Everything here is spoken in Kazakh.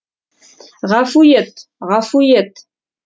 ғафу ет ғафу ет